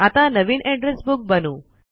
आता नवीन address book बनवू